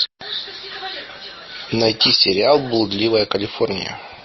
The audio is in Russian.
найти сериал блудливая калифорния